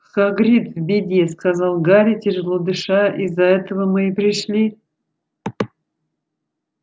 хагрид в беде сказал гарри тяжело дыша из-за этого мы и пришли